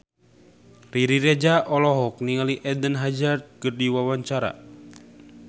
Riri Reza olohok ningali Eden Hazard keur diwawancara